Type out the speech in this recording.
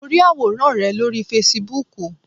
Mo rí àwòrán rẹ lórí Fasibúùkù